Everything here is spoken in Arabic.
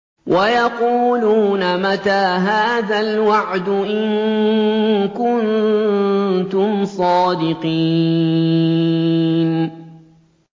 وَيَقُولُونَ مَتَىٰ هَٰذَا الْوَعْدُ إِن كُنتُمْ صَادِقِينَ